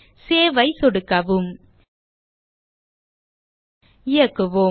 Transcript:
save ஐ சொடுக்கவும் இயக்குவோம்